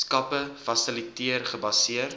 skappe fasiliteer gebaseer